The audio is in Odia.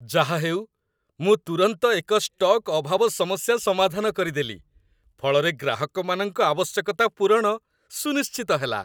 ଯାହାହେଉ, ମୁଁ ତୁରନ୍ତ ଏକ ଷ୍ଟକ୍ ଅଭାବ ସମସ୍ୟା ସମାଧାନ କରିଦେଲି, ଫଳରେ ଗ୍ରାହକମାନଙ୍କ ଆବଶ୍ୟକତା ପୂରଣ ସୁନିଶ୍ଚିତ ହେଲା।